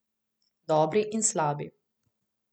Dobri in slabi.